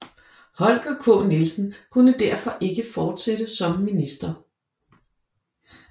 Holger K Nielsen kunne derfor ikke fortsætte som minister